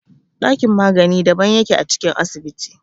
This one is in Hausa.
Ɗakin magani daban yake a cikin asibiti.